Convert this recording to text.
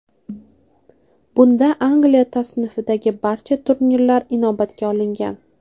Bunda Angliya tasnifidagi barcha turnirlar inobatga olingan .